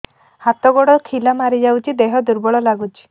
ହାତ ଗୋଡ ଖିଲା ମାରିଯାଉଛି ଦେହ ଦୁର୍ବଳ ଲାଗୁଚି